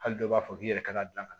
Hali dɔw b'a fɔ k'i yɛrɛ ka gilan ka